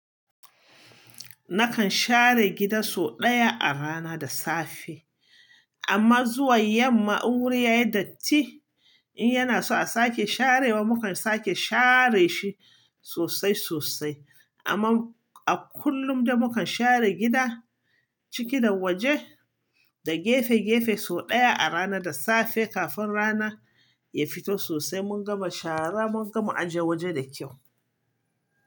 Nakan share gida sau ɗaya a rana da safe. Amma zuwa yamma, in wuri yayi datti. In yana so a sake sharewa, mukan sake share shi sosai sosai. Amma a kullum da mukan share gida, ciki da waje da gefe gefe sau ɗaya a rana da safe kafin rana ya fito sosai mun gama shara mun gama aje waje da kyau.